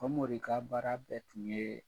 Famori ka baara bɛɛ tun yee